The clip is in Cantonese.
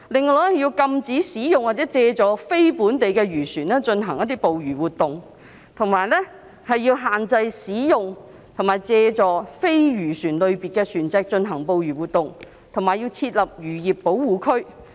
此外，要禁止使用或借助非本地漁船進行捕魚活動，並限制使用或借助非漁船類別的船隻進行捕魚活動，以及設立漁業保護區。